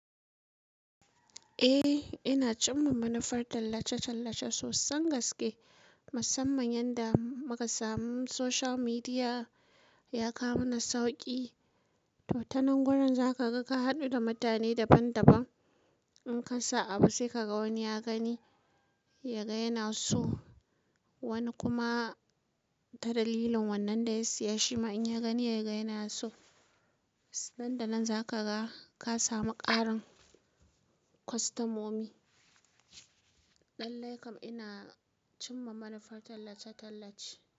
Eh, ina cimma manufar tallace-tallace sosan gaske, musamman yanda muka samu social media ya kawo mana sauki. To, ta nan gurin zaka ga ka haɗu da mutane daban-daban. In kasa abu sai kaga wani ya gani yaga yana so, wani kuma ta dalilin wannan da ya siya shima in ya gani yaga yana so. Nan da nan zakaga ka samu ƙarin kwastamomi. Lallaikam ina cimma manufar tallace-tallace.